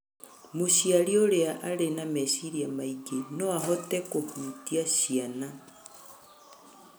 Mũciari ũrĩa arĩ na meciria maingĩ no ahote kũhutia ciana,